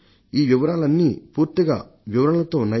ఈ వివరాలన్నీ పూర్తిగా వివరణలతో ఉన్నాయి